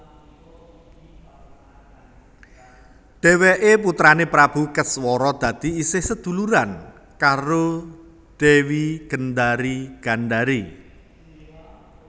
Dheweké putrané Prabu Keswara dadi isih seduluran karo Dewi Gendari Gandari